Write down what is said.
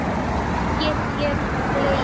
Nú get ég hlegið.